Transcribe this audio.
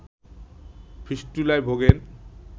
ফিস্টুলায় ভোগেন